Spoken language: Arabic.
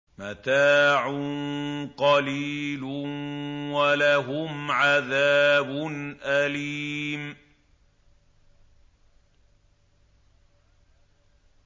مَتَاعٌ قَلِيلٌ وَلَهُمْ عَذَابٌ أَلِيمٌ